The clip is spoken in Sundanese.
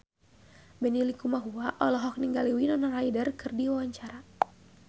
Benny Likumahua olohok ningali Winona Ryder keur diwawancara